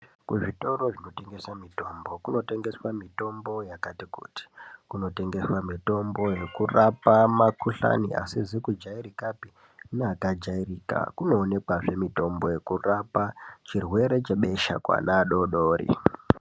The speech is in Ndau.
Kuzvitoro kumotengeswa mitombo kumotengeswa mitombo yekati kuti. Kunotengeswa mitombo yekurapa mikhuhlani isizi kujairikapi neyakajairika kunoonekazve mitombo yekurapa chirwere chebesha kuana adoodori